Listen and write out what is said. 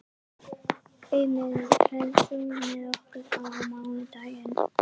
Eymar, ferð þú með okkur á mánudaginn?